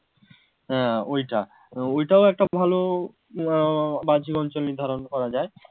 হ্যাঁ ওইটা ওইটাও একটা ভালো আহ বাহ্যিক অঞ্চল নির্ধারণ করা যায়